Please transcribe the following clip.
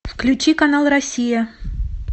включи канал россия